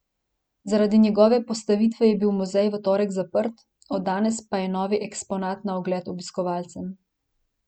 Zaradi njegove postavitve je bil muzej v torek zaprt, od danes pa je novi eksponat na ogled obiskovalcem.